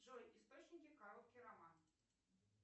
джой источники короткий роман